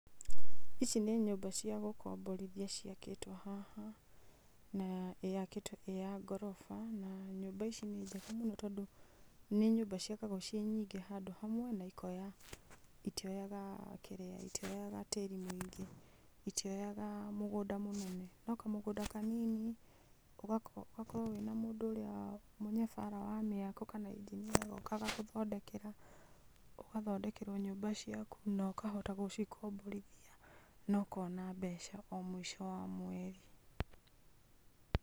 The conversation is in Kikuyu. Ici nĩ nyũmba cia gũkomborithia, ci akĩtwo haha, na yakĩtwo ĩ ya ngoroba. Na nyũmba ici nĩ njega mũno tondũ, nĩ nyũmba ci akagwo ci nyingĩ handũ hamwe. Na ikoya, itioyaga kĩrĩa, itioyaga tĩri mũingĩ, itioyaga mĩgũnda mĩnene. No kamũgũnda kanini, ũgakorwo wĩna mũndũ ũrĩa mũnyabara wa mĩako kana engineer, agoka agagũthondekera, ũgathondekerwo nyũmba ciaku na ũkahota gũcikomborithia na ũkona mbeca o mweri.